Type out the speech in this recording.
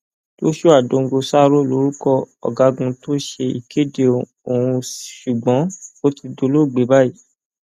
joshuadongosaro lorúkọ ọgágun tó ṣe ìkéde ọhún ṣùgbọn ó ti dolóògbé báyìí